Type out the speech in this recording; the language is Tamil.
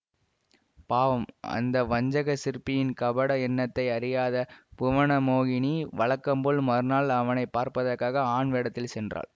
பாவம் அந்த வஞ்சகச் சிற்பியின் கபட எண்ணத்தை அறியாத புவனமோகினி வழக்கம் போல் மறுநாள் அவனை பார்ப்பதற்காக ஆண் வேடத்தில் சென்றாள்